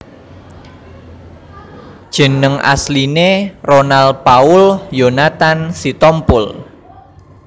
Jeneng asline Ronal Paul Yonathan Sitompul